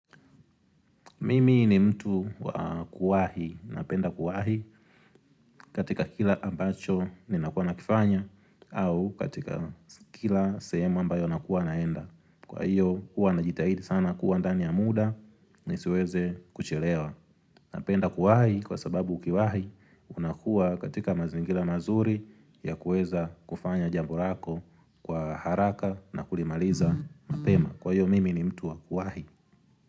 Mimi ni mtu wa kuwahi, napenda kuwahi katika kila ambacho ninakuwa nakifanya au katika kila sehemu ambayo nakuwa naenda. Kwa hiyo, huwa najitahidi sana kuwa ndani ya muda, nisiweze kuchelewa. Napenda kuwahi kwa sababu ukiwahi unakua katika mazingira mazuri ya kuweza kufanya jambu lako kwa haraka na kulimaliza mapema. Kwa hiyo, mimi ni mtu wa kuwahi.